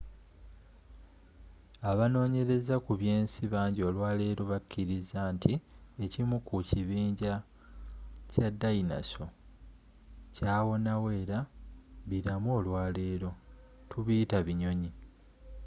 abanonyereza ku byensi bangi olwaleero bakiriza nti ekimu ku kibinja kya dayinoso kyawonawo era bilamu olwaleero tubiyita binyonyi